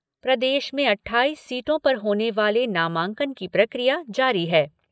प्रदेश में अट्ठाईस सीटों पर होने वाले नामांकन की प्रक्रिया जारी है।